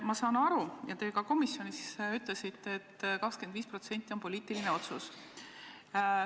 Ma saan aru ja te ka komisjonis ütlesite, et too 25% on poliitiline otsus.